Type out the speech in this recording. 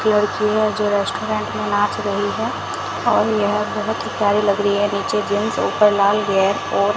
लड़कियां जो रेस्टोरेंट में नाच रही है और यह बहुत ही प्यारी लग रही है नीचे जींस ऊपर लाल वेयर और --